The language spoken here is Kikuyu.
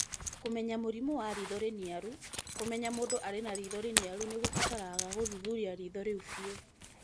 Kũmenya mũrimũ wa riitho rĩniaru:kũmenya mũndũ arĩ na riitho rĩniaru nĩ kũbataraga kũthuthuria riitho rĩu biũ